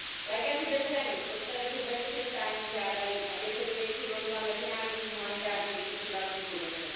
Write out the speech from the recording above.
Lékaři bez hranic od té doby bez přestání žádají, aby se do věci vložila Mezinárodní humanitární vyšetřovací komise.